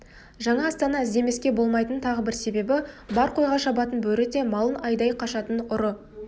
жаңа астана іздемеске болмайтын тағы бір себебі бар қойға шабатын бөрі де малын айдай қашатын ұры